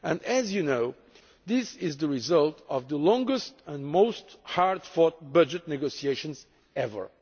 As you know, this is the result of the longest and hardest fought budget negotiations ever.